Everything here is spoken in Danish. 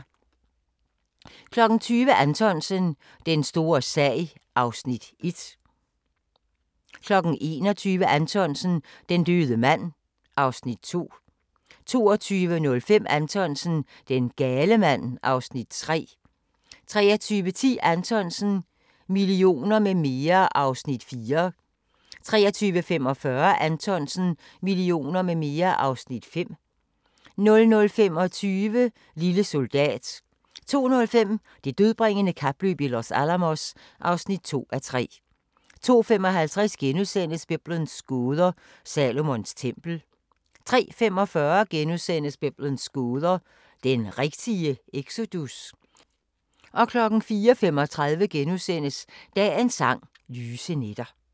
20:00: Anthonsen – Den store sag (Afs. 1) 21:10: Anthonsen - Den døde mand (Afs. 2) 22:05: Anthonsen - Den gale mand (Afs. 3) 23:10: Anthonsen - Millioner med mere (Afs. 4) 23:45: Anthonsen - Millioner med mere (Afs. 5) 00:25: Lille soldat 02:05: Det dødbringende kapløb i Los Alamos (2:3) 02:55: Biblens gåder – Salomons tempel * 03:45: Biblens gåder – den rigtige exodus? * 04:35: Dagens Sang: Lyse nætter *